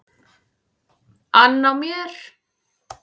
ann á mér.